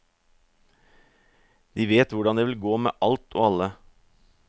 De vet hvordan det vil gå med alt og alle.